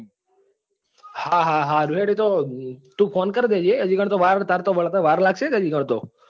હા હા સારું હેડ એતો તું phone કર દેજે હાજી એકન તો વાર હે ને તાર તો વળતા વાર લાગશે ને હજુ કણ તો.